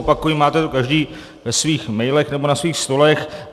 Opakuji, máte to každý ve svých mailech nebo na svých stolech.